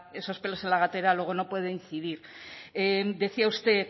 esos pelos en la gatera luego no puede incidir decía usted